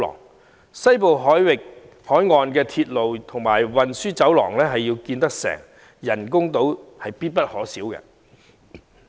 如要落實興建西部海岸鐵路和運輸走廊，人工島必不可少。